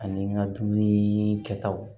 Ani n ka dumunii kɛtaw